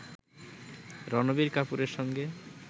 রণবীর কাপূরের সঙ্গে